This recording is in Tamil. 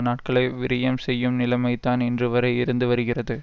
நாட்களை விரயம் செய்யும் நிலைமைதான் இன்றுவரை இருந்துவருகிறது